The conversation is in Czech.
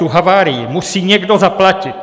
Tu havárii musí někdo zaplatit.